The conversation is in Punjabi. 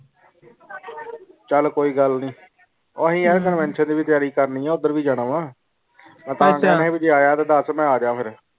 ਚਾਲ ਕੋਈ ਗੱਲ ਨਾਈ ਓਹੀ ਯਾਰ ਕਲ ਫੰਕਸ਼ਨ ਦੀ ਵੀ ਤਿਆਰੀ ਕਰਨੀ ਇਹ ਓਦਰ ਵੀ ਜਾਣਾ ਵੇ ਦਾਸ ਮੈਂ ਅਜ ਫਿਰ